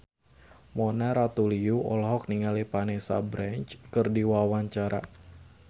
Mona Ratuliu olohok ningali Vanessa Branch keur diwawancara